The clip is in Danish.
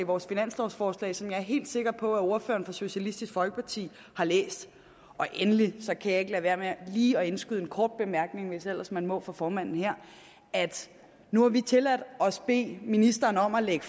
vores finanslovforslag som jeg er helt sikker på at ordføreren for socialistisk folkeparti har læst og endelig kan jeg ikke lade være med lige at indskyde en kort bemærkning hvis ellers man må for formanden her nu har vi tilladt os at bede ministeren om at lægge